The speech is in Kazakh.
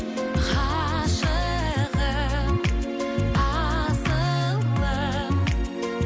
ғашығым асылым